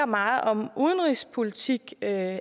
meget om udenrigspolitik at